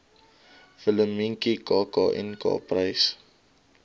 willemientjie kknk prys